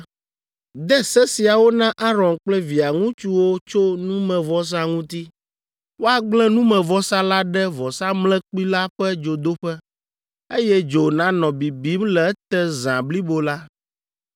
“De se siawo na Aron kple via ŋutsuwo tso numevɔsa ŋuti, ‘Woagblẽ numevɔsa la ɖe vɔsamlekpui la ƒe dzodoƒe, eye dzo nanɔ bibim le ete zã blibo la.